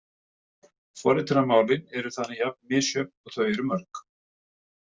Forritunarmálin eru þannig jafnmisjöfn og þau eru mörg.